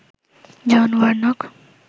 John Warnock